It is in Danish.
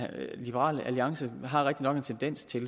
liberal alliance har en tendens til